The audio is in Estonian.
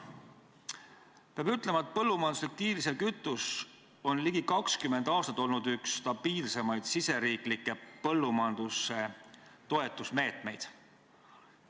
Peab ütlema, et põllumajanduslik diislikütus on ligi 20 aastat olnud üks stabiilsemaid riigisiseseid põllumajanduse toetamise meetmeid.